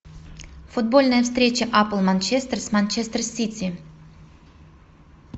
футбольная встреча апл манчестер с манчестер сити